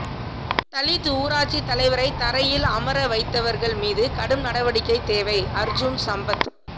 தலித் ஊராட்சித் தலைவரை தரையில் அமரவைத்தவா்கள் மீது கடும் நடவடிக்கை தேவைஅா்ஜூன் சம்பத்